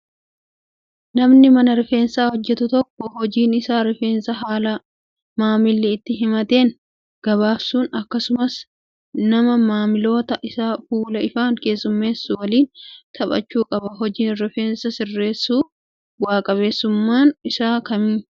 Namni mana rifeensaa hojjatu tokko hojiin isaa rifeensa haala maamilli itti himateen gabaabsuu akkasumas nama maamiloota isaa fuula ifaan keessummeessee waliin taphachuu qaba. Hojiin rifeensa sirreessuu bu'aa qabeessuumaan isaa akkami?